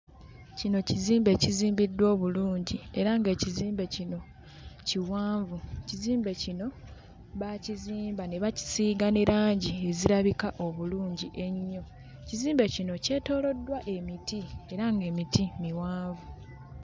Kino kizimbe ekizimbiddwa obulungi era ng'ekizimbe kino kiwanvu kizimbe kino baakizimba ne bakisiiga ne langi ezirabika obulungi ennyo kizimbe kino kyetooloddwa emiti era ng'emiti miwanvu.